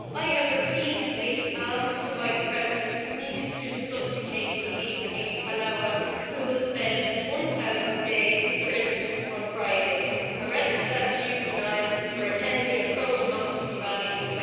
I have repeatedly asked the Vice President to meet to discuss the case of Ibrahim Helawa, who will spend his 1000th day in prison on Friday, arrested as a juvenile for attending a pro democracy rally in